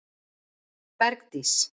Bergdís